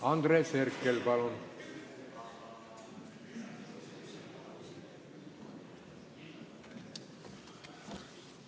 Andres Herkel, palun!